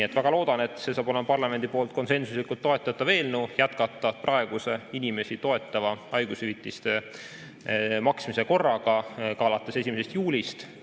Ma väga loodan, et see saab olema parlamendi poolt konsensuslikult toetatav eelnõu, et jätkata praeguse inimesi toetava haigushüvitise maksmise korraga ka alates 1. juulist.